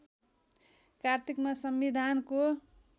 कार्तिकमा संविधानको